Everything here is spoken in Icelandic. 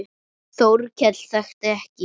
Þórkell þekkti ekki.